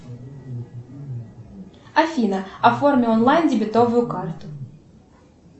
афина оформи онлайн дебетовую карту